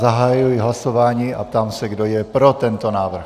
Zahajuji hlasování a ptám se kdo je pro tento návrh.